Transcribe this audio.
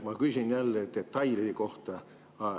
Ma küsin jälle detailide kohta.